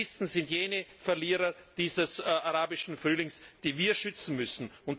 Die Christen sind jene Verlierer dieses Arabischen Frühlings, die wir schützen müssen.